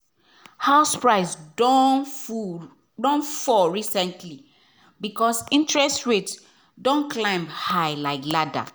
house price don don fall recently because interest rate don climb high like ladder.